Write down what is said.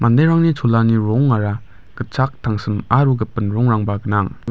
manderangni cholani rongara gitchak tangsim aro gipin rongrangba gnang.